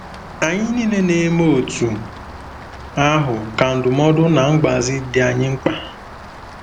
Anyị niile na-eme otú ahụ ka ndụmọdụ na mgbazi dị anyị mkpa.